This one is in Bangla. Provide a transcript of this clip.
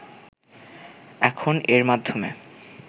এখন এর মাধ্যমে